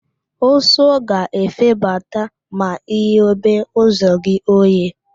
Ụsụ ga-efebata ma I ghobe ụzọ oghe